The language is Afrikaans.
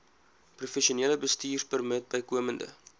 professionele bestuurpermit bykomend